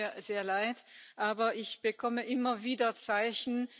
Das tut mir sehr leid, aber ich bekomme immer wieder Zeichen.